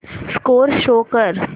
score show कर